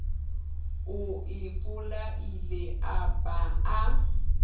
o ipolaile a ba a